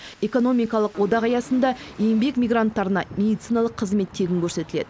экономикалық одақ аясында еңбек мигранттарына медициналық қызмет тегін көрсетіледі